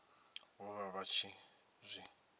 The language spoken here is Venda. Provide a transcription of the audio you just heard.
vho vha vha tshi zwi